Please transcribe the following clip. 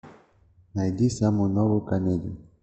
найди самую новую комедию